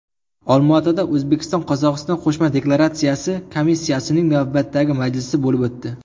Olmaotada O‘zbekistonQozog‘iston qo‘shma demarkatsiya komissiyasining navbatdagi majlisi bo‘lib o‘tdi.